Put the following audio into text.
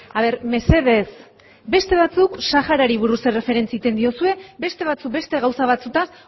a ber mesedez beste batzuk saharari buruz erreferentzi egiten diozue beste batzuk beste gauza batzuetaz